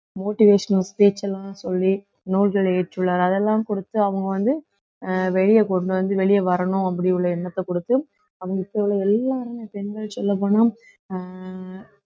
motivational பேச்சு எல்லாம் சொல்லி நூல்களை இயற்றுள்ளார் அதெல்லாம் கொடுத்து அவங்க வந்து அஹ் வெளிய கொண்டு வந்து வெளிய வரணும் அப்படி உள்ள எண்ணத்தை கொடுத்து அவங்க இப்ப உள்ள எல்லாருமே பெண்கள் சொல்லப் போனா அஹ்